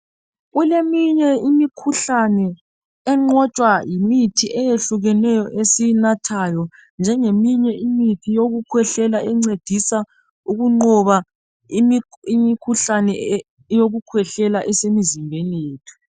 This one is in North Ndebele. Kuleminye imikhuhlane enqotshwa yimithi eyehlukeneyo esiyinathayo njengeminye imithi yokukhwehlela encedisa ukunqoba imkhuhlane eyokukhwehlela esemizimbeni yethu